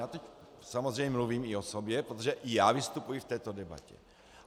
A teď samozřejmě mluvím i o sobě, protože i já vystupuji v této debatě.